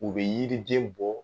U be yiriden bɔ